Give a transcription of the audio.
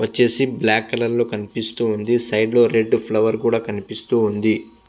వచ్చేసి black colour లో కనిపిస్తూ ఉంది. సైడ్ లో రెడ్ ఫ్లవర్ కూడా కనిపిస్తూ ఉంది.